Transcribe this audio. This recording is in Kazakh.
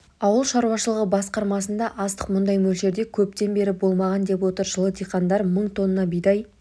ауыл шаруашылығы басқармасында астық мұндай мөлшерде көптен бері болмаған деп отыр жылы диқандар мың тонна бидай